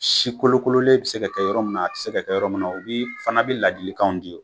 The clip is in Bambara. Si kolokololen be se ka kɛ yɔrɔ min na a te se ka kɛ yɔrɔ min na u bii fana bi ladilikanw di yen